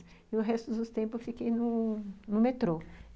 E o resto do tempo eu fiquei no no metrô.